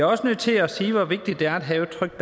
også nødt til at sige hvor vigtigt det er at have et trygt